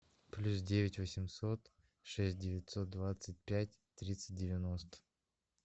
плюс девять восемьсот шесть девятьсот двадцать пять тридцать девяносто